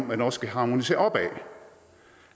man også kan harmonisere opad